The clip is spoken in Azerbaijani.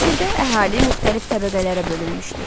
Misirdə əhali müxtəlif təbəqələrə bölünmüşdü.